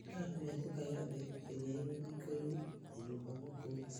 Thinga mĩatũka yothe ĩrĩa ĩ rũthingo -inĩ na nyũmba gũkũ thĩ.